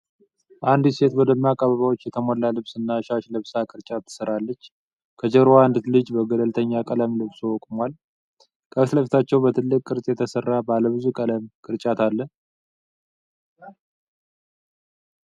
አንዲት ሴት በደማቅ አበባዎች የተሞላ ልብስ እና ሻሽ ለብሳ ቅርጫት ስትሰራች ነው። ከጀርባዋ አንድ ልጅ በገለልተኛ ቀለም ልብስ ቆሟል። ከፊት ለፊታቸው በትልቅ ቅርጽ የተሰራ ባለ ብዙ ቀለም ቅርጫት አለ።